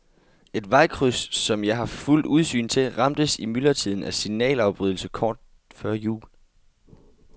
Et vejkryds, som jeg har fuldt udsyn til, ramtes i myldretiden af signalafbrydelse kort før jul.